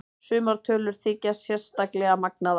Sumar tölur þykja sérstaklega magnaðar.